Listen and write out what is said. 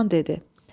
Loğman dedi: